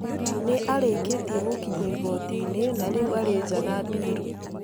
Nĩ arĩkĩtie gũkinyio igooti-inĩ na rĩu arĩ nja na bĩrũ.